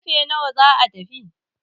karfe nawa za a tafi?